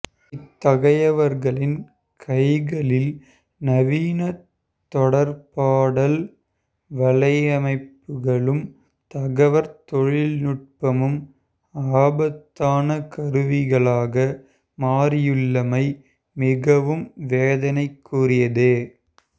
இத்தகையவர்களின் கைகளில் நவீன தொடர்பாடல் வலையமைப்புகளும் தகவற்தொழில்நுட்பமும் ஆபத்தான கருவிகளாக மாறியுள்ளமை மிகவும் வேதனைக்குரியதே